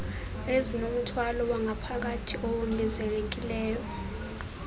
ezinomthwalo wangaphakathi owongezekileyo